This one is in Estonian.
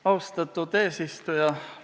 Austatud eesistuja!